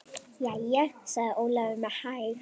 Jæja, sagði Ólafur með hægð.